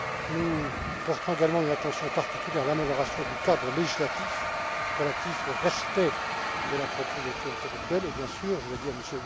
Nous porterons également une attention particulière à l'amélioration du cadre législatif relatif au respect de la propriété intellectuelle et bien sûr, je le dis à M.